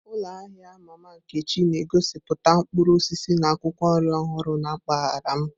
Ụlọ ahịa Mama Nkechi na-egosiputa mkpụrụ osisi na akwụkwọ nri ọhụrụ na mpaghara m.